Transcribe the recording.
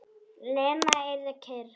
Lena yrði kyrr.